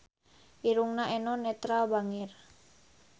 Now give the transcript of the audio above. Irungna Eno Netral bangir